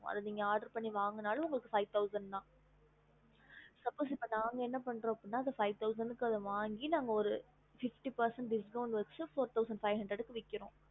அத oder பண்ணி வாங்கனாலும் five thousand okay okey இப்போ நாங்க என்ன பண்றன five thousand அத வாங்கி fity%discount பண்ணி fourthousendfiveundeer கொடுக்கரும்